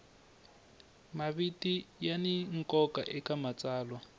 maviti ya ni nkoka eka matsalwa